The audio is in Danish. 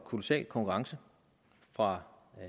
kolossal konkurrence fra